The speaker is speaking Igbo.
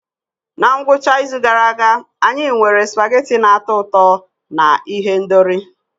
Na ngwụcha izu gara aga, anyị nwere spaghetti na-atọ ụtọ na ihendori.